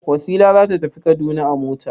Wasila za ta tafi Kaduna a mota.